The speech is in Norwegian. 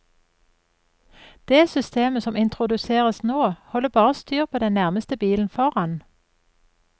Det systemet som introduseres nå, holder bare styr på den nærmeste bilen foran.